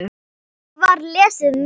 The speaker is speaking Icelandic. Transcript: Svo var lesið meira.